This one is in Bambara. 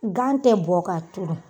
Gan tɛ bɔn k'a turu.